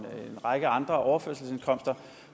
række andre overførselsindkomster